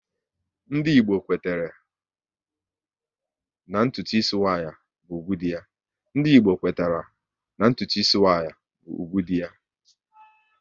Ndị Igbo kwetara na ntụtu ịsị nwaanyị bụ ugwu dị ya